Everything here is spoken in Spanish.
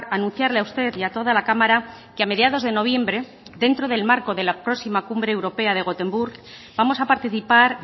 anunciarle a usted y a toda la cámara que a mediados de noviembre dentro del marco de la próxima cumbre europea de gotemburgo vamos a participar